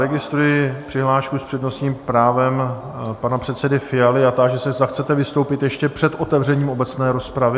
Registruji přihlášku s přednostním právem pana předsedy Fialy a táži se, zda chcete vystoupit ještě před otevřením obecné rozpravy?